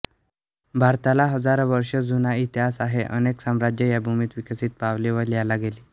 भारताला हजारो वर्षे जुना इतिहास आहे अनेक साम्राज्ये या भूमीत विकसित पावली व लयाला गेली